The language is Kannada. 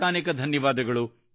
ಅನೇಕಾನೇಕ ಧನ್ಯವಾದ